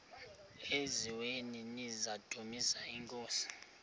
eziaweni nizidumis iinkosi